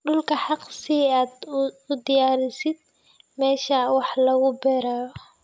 Dhulka xaaq si aad u diyaarisid meesha wax lagu beerayo.